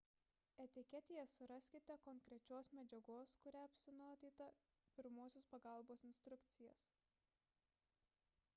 etiketėje suraskite konkrečios medžiagos kuria apsinuodyta pirmosios pagalbos instrukcijas